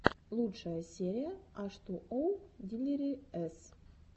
лучшая серия аш ту оу дилириэс